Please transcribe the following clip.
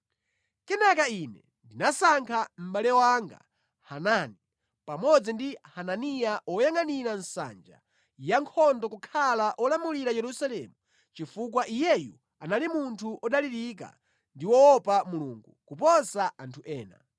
Kenaka ine ndinasankha mʼbale wanga Hanani pamodzi ndi Hananiya woyangʼanira nsanja yankhondo kukhala olamulira Yerusalemu chifukwa iyeyu anali munthu odalirika ndi woopa Mulungu kuposa anthu ena.